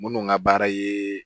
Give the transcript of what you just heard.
Minnu ka baara ye